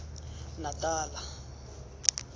natala